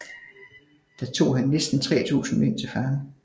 Der tog han næsten 3000 mænd til fange